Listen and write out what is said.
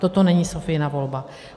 Toto není Sophiina volba.